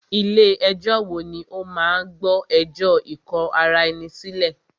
Ilé ẹ̀jọ wo ní o máà gbọ́ ẹjọ́ ikò ará ẹni sílẹ̀?